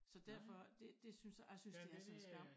Så derfor det det synes jeg jeg synes det er sådan en skam